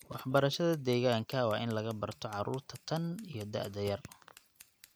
Waxbarashada deegaanka waa in laga barto carruurta tan iyo da'da yar.